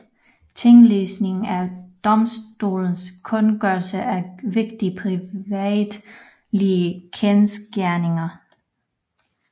Tinglysning er domstolenes kundgørelse af vigtige privatretlige kendsgerninger